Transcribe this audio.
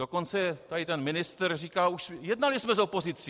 Dokonce tady ten ministr říká už: jednali jsme s opozicí.